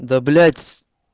да блять